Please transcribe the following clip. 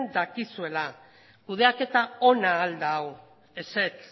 dakizuela kudeaketa ona al da hau ezetz